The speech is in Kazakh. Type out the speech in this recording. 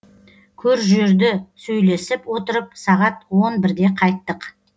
көр жерді сөйлесіп отырып сағат он бірде қайттық